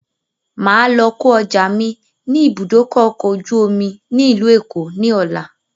Máa lọ kò ọjà mi ni ibùdókọ̀ ọkọ̀ ojú omi ni ilu Èkó ni ọ̀la